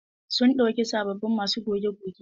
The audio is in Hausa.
Sun ɗauki sabobbin masu goge goge.